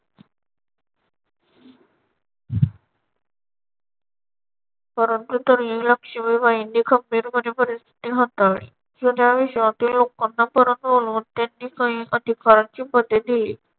परंतु तरीही लक्ष्मीबाईनी खंबीरपणे परिस्थिती हाताळली. व त्या विश्वातील लोकांना परत बोलावून त्यांनी काही अधिकाराची पदे दिली.